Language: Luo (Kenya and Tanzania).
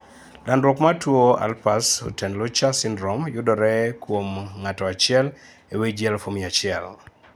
Landruok mar tuo Alpers-Huttenlocher syndrome yudore kuom ng'ato achiel e wii ji 100,000